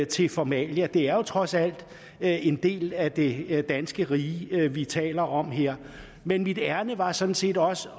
til formalia det er jo trods alt en del af det danske rige vi taler om her men mit ærinde var sådan set også